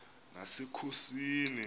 nasekhosini